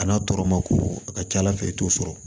A n'a tɔɔrɔ ma ko a ka ca ala fɛ i t'o sɔrɔ